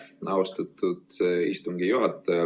Aitäh, austatud istungi juhataja!